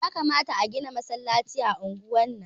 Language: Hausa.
Yakamata a gina masallaci a unguwar nan